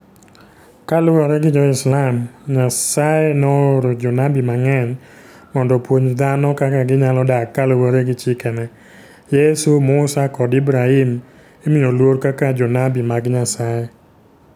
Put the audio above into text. Kaluwore gi Jo-Islam, Nyasaye nooro jonabi mang'eny mondo opuonj dhano kaka ginyalo dak kaluwore gi chikene. Yesu, Musa, kod Ibrahim imiyo luor kaka jonabi mag Nyasaye.